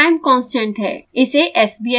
t time constant है